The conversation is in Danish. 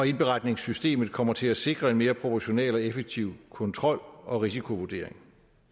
indberetningssystemet kommer til at sikre en mere proportional og effektiv kontrol og risikovurdering